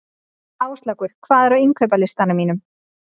Áslákur, hvað er á innkaupalistanum mínum?